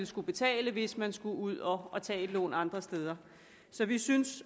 skulle betale hvis man skulle ud og tage et lån andre steder så vi synes